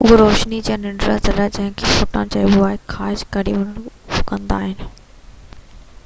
اهي روشني جي ننڍڙا ذرا جنهن کي فوٽان چئبو آهي خارج ڪري اهو ڪندا آهن